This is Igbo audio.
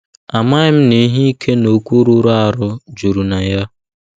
Amaghị m na ihe ike na okwu rụrụ arụ juru na ya!